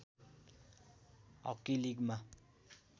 hockey लिगमा